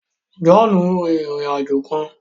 Johnu ǹ rin ìrìn-àjò kàn